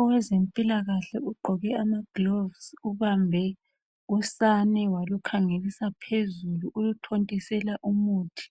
Owezempilakahle ugqoke amagilovisi ubambe usane walukhangelisa phezulu uluthontisela umuthi.